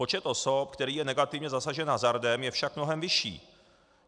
Počet osob, který je negativně zasažen hazardem, je však mnohem vyšší.